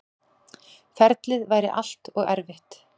Ferlið væri allt og erfitt.